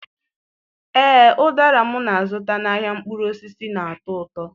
Ee, ụdara m na-azụta n'ahịa mkpụrụ osisi na-atọ ụtọ.